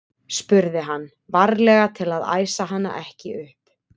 spurði hann, varlega til að æsa hana ekki upp.